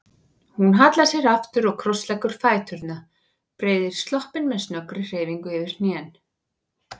Hún hallar sér aftur og krossleggur fæturna, breiðir sloppinn með snöggri hreyfingu yfir hnén.